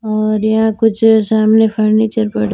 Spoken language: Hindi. और यहां कुछ सामने फर्नीचर पड़ा--